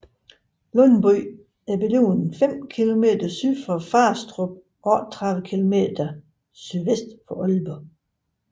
Lundby er beliggende fem kilometer syd for Farstrup og 38 kilometer sydvest for Aalborg